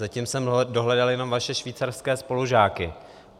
Zatím jsem dohledal jenom vaše švýcarské spolužáky.